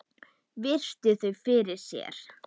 Virti þau fyrir sér.